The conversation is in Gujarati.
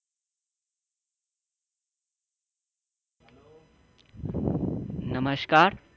નમસ્કાર